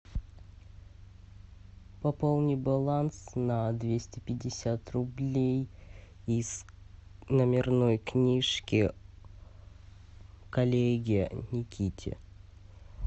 пополни баланс на двести пятьдесят рублей из номерной книжки коллеге никите